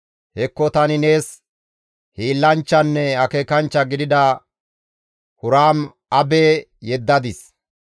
«Hekko tani nees hiillanchchanne akeekanchcha gidida Huraam-Abe yeddadis.